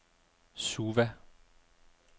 Suva